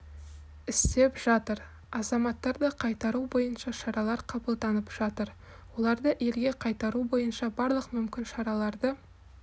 істеп жатыр азаматтарды қайтару бойынша шаралар қабылданып жатыр оларды елге қайтару бойынша барлық мүмкін шараларды